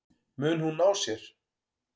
Mun hún ná sér?